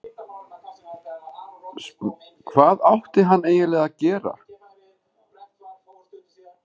Hvað átti hann eiginlega að gera?